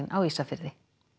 á Ísafirði